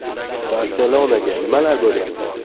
“Barselona”ga nimalar bo‘lyapti?